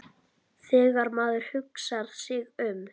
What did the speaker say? Þegar maður hugsar sig um.